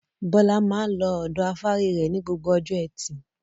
Bọ́lá máa ń lọ ọ̀dọ afárí rẹ̀ ní gbogbo ọjọ́ ẹtì.